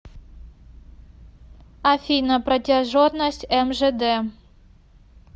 афина протяженность мжд